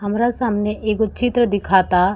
हमरा सामने एगो चित्र दिखाता।